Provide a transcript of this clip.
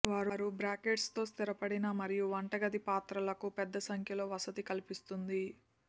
వారు బ్రాకెట్స్ తో స్థిరపడిన మరియు వంటగది పాత్రలకు పెద్ద సంఖ్యలో వసతి కల్పిస్తుంది